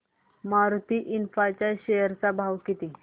Maruti infra च्या share चा भाव किती